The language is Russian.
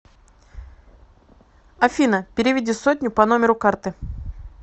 афина переведи сотню по номеру карты